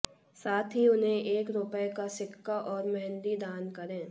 साथ ही उन्हें एक रुपए का सिक्का और मेहंदी दान करें